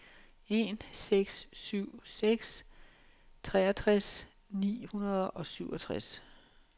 en seks syv seks treogtres ni hundrede og syvogtres